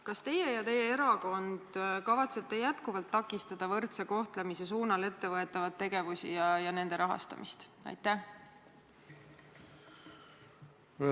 Kas teie ja teie erakond kavatsete jätkuvalt takistada võrdse kohtlemise suunal ettevõetavaid tegevusi ja nende rahastamist?